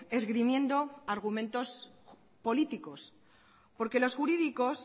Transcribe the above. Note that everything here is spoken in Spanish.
esgrimiendo argumentos políticos porque los jurídicos